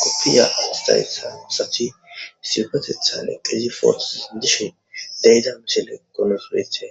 koppiya awastayssa usachi sigetetha potoza dindishe deyida mishele qonosweethe.